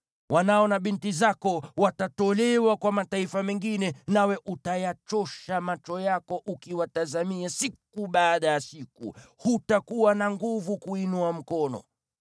Wanao na binti zako watatolewa kwa mataifa mengine, nawe utayachosha macho yako ukiwatazamia siku baada ya siku, hutakuwa na nguvu kuinua mkono.